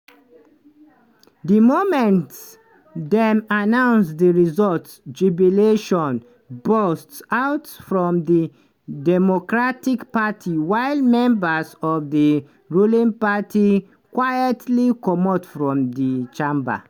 di moment dem announce di results jubilations burst out from di democratic party while members of di ruling party quietly comot from di chamber.